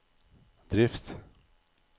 drift